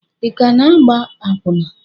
ị ka na-agba akwụna?